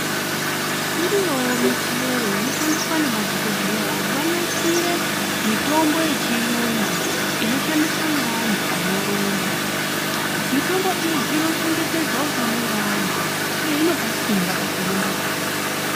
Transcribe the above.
Iriyowo michero inoshandiswa nemadhokodheya kuti vanasire mitombo yechiyungu inoshandiswa neantu anorumba. Mitombo iyi inochengetedza utano wevantu uye inopa simba pakurumbapo.